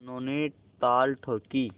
दोनों ने ताल ठोंकी